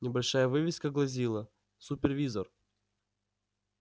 небольшая вывеска гласила супервизор